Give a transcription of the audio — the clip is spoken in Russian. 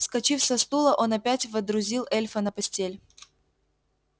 вскочив со стула он опять водрузил эльфа на постель